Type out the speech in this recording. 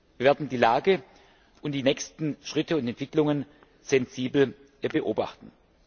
Wir werden die Lage und die nächsten Schritte und Entwicklungen sensibel beobachten.